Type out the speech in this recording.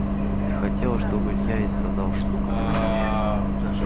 и хотела чтоб илья ей сказал штука